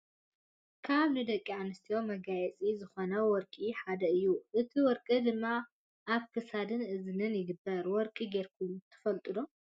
ካብ ንደቂ ኣንስትዮ መጋየፂታት ዝኮኑ ወርቂ ሓደ እዩ ።እቲ ወርቂ ድማ ኣብ ክሳድን እዝንን ይግበር ። ወርቂ ገይርኩም ትፈልጡ ዶ ?